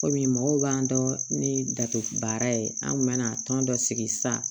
Kɔmi mɔgɔw b'an dɔn ni da baara ye an kun mana tɔn dɔ sigi sisan